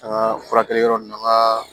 An ka furakɛli yɔrɔ ninnu an ka